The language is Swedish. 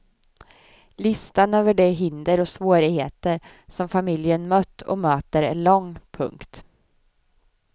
Listan över de hinder och svårigheter som familjen mött och möter är lång. punkt